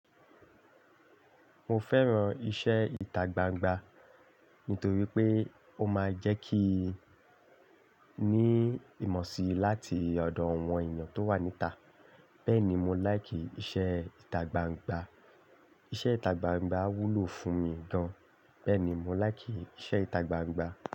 Mo fẹ́ràn iṣẹ́ ìtagbangba nítorí pé ó máa ń jẹ́ kí i ní ìmọ̀ sí láti ọ̀dọ̀ àwọn èèyàn tó wà níta. Bẹ́ẹ̀ ni, mo láìkì iṣẹ́ ìtagbangba. Iṣẹ́ ìtagbangba wúlò fún mi gan. Bẹ́ẹ̀ ni, mo láìkì iṣẹ́ ìtagbangba.